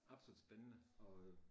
Absolut spændende og øh